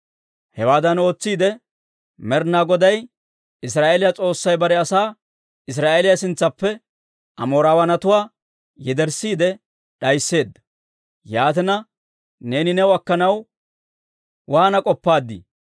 «Hewaadan ootsiide, Med'inaa Goday Israa'eeliyaa S'oossay bare asaa Israa'eeliyaa sintsaappe Amooraawatuwaa yederssiide d'aysseedda. Yaatina, neeni new akkanaw waana k'oppaaddii?